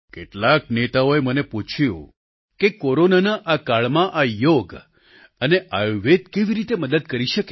કેટલાક નેતાઓએ મને પૂછ્યું કે કોરોનાના આ કાળમાં આ યોગ અને આયુર્વેદ કેવી રીતે મદદ કરી શકે